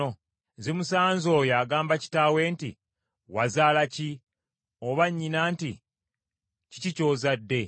Zimusanze oyo agamba kitaawe nti, ‘Wazaala ki?’ Oba nnyina nti, ‘Kiki ky’ozadde?’